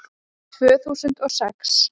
Tvö þúsund og sex